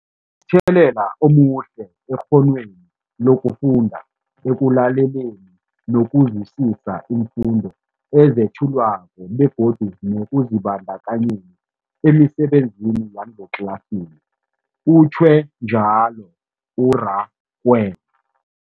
Kunomthelela omuhle ekghonweni lokufunda, ekulaleleni nokuzwisiswa iimfundo ezethulwako begodu nekuzibandakanyeni emisebenzini yangetlasini, utjhwe njalo u-Rakwena.